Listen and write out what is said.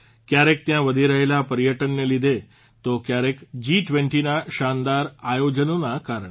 કયારેક ત્યાં વધી રહેલા પર્યટનને લીધે તો કયારેક જી20ના શાનદાર આયોજનનોના કારણે